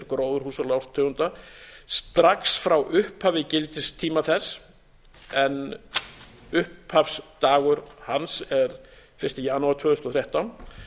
gróðurhúsalofttegunda strax frá upphafi gildistíma þess en upphafsdagur hans er fyrsta janúar tvö þúsund og þrettán